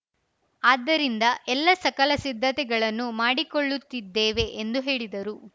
ಆದ್ದರಿಂದ ಎಲ್ಲ ಸಕಲ ಸಿದ್ಧತೆಗಳನ್ನು ಮಾಡಿಕೊಳ್ಳುತ್ತಿದ್ದೇವೆ ಎಂದು ಹೇಳಿದರು